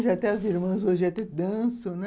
Hoje até as irmãs, hoje até dançam, né?